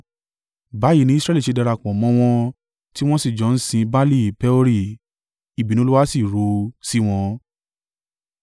Báyìí ni Israẹli ṣe darapọ̀ mọ́ wọn tí wọ́n sì jọ ń sin Baali-Peori. Ìbínú Olúwa sì ru sí wọn.